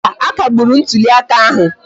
Mba, a kagburu ntụli aka ahụ